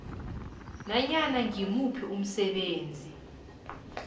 nanyana ngimuphi umsebenzi